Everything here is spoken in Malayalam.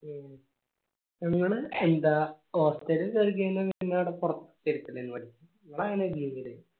എങ്ങനെ എന്താ നമ്മളെങ്ങനെണ് ചെയ്തേർന്നേ